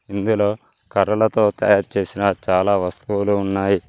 ఇందులో కర్రలతో తయారు చేసిన చాలా వస్తువులు ఉన్నాయి.